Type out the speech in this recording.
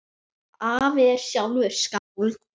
Afi er sjálfur skáld.